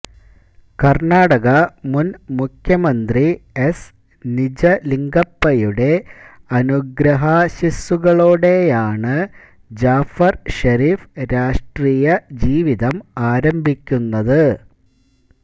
കര്ണാടക മുന് മുഖ്യമന്ത്രി എസ് നിജലിംഗപ്പയുടെ അനുഗ്രഹാശ്ശിസുകളോടെയാണ് ജാഫര് ഷെരീഫ് രാഷ്ട്രീയ ജീവിതം ആരംഭിക്കുന്നത്